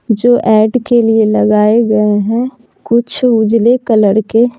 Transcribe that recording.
जो ऐड के लिए लगाए गए हैं कुछ उजले कलर के--